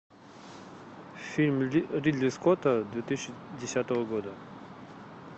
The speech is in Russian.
фильм ридли скотта две тысячи десятого года